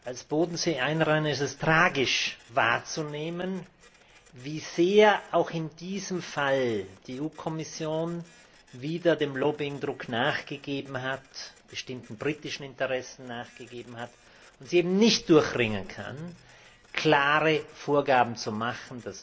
Als Bodenseeanrainer ist es tragisch, wahrzunehmen, wie sehr auch in diesem Fall die EU Kommission wieder dem Lobbyingdruck nachgegeben hat, bestimmten britischen Interessen nachgegeben hat und sich eben nicht durchringen kann, klare Vorgaben zu machen,